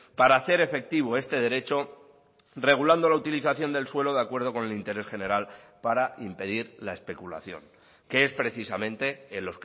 para hacer efectivo este derecho regulando la utilización del suelo de acuerdo con el interés general para impedir la especulación que es precisamente en